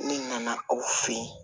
Ne nana aw fɛ yen